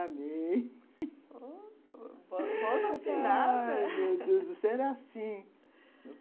oh, voz afinada. Ai, meu Deus, era assim.